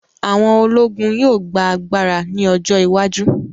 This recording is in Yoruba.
Àwọn ológun yóò gba agbára ní ọjọ́ iwájú